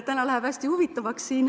Täna läheb siin hästi huvitavaks.